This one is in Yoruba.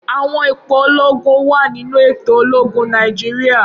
Awọn ipo ologun wa ninu eto ologun Naijiria.